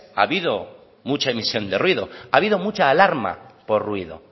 ha habido mucha emisión de ruido ha habido mucha alarma por ruido